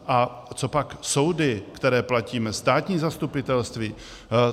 A co pak soudy, které platíme, státní zastupitelství?